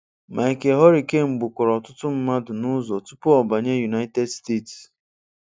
Michael Hurricane gbukwara ọtụtụ mmadụ n'ụzọ tupu ọ banye United States.